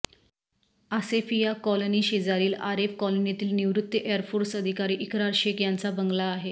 आसेफिया कॉलनीशेजारील आरेफ कॉलनीतील निवृत्त एअर फोर्स अधिकारी इकरार शेख यांचा बंगला आहे